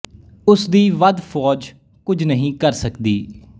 ਉਸ ਦੀ ਵੱਧ ਫੌਜ ਕੁਝ ਨਹੀਂ ਕਰ ਸਕਦੀ